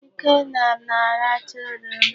Ikenna na-arachaa oroma.